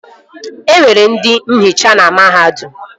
E nwere ndị nhicha na mahadum